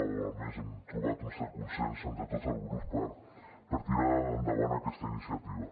o almenys hem trobat un cert consens entre tots els grups per tirar endavant aquesta iniciativa